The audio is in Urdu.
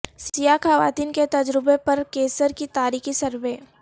سیاہ خواتین کے تجربے پر کیسر کی تاریخی سروے